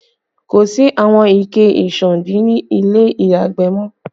Kò sí àwọn ike ìsándí ni ilé ìyàgbẹ̀ mọ